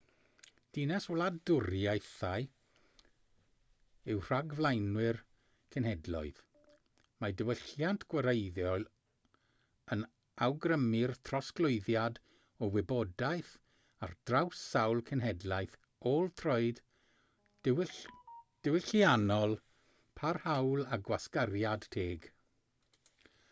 dinas-wladwriaethau yw rhagflaenwyr cenhedloedd mae diwylliant gwareiddiol yn awgrymu'r trosglwyddiad o wybodaeth ar draws sawl cenhedlaeth ôl-troed diwylliannol parhaol a gwasgariad teg